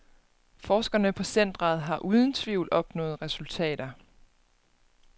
Forskerne på centret har uden tvivl opnået resultater.